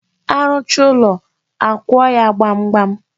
A rụchaa ụlọ, akụọ ya gbamgbam.